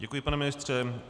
Děkuji, pane ministře.